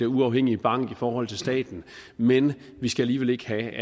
uafhængig bank i forhold til staten men vi skal alligevel ikke have